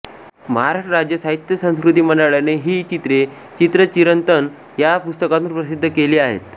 महाराष्ट्र राज्य साहित्य संस्कृती मंडळाने ही चित्रे चित्रचिरंतन या पुस्तकातून प्रसिद्ध केली आहेत